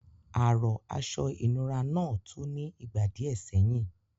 Àrọ̀ aṣọ ìnura náà tú ní ìgbà díẹ̀ sẹ́yìn.